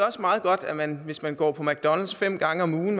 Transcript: også meget godt at man hvis man går på mcdonalds fem gange om ugen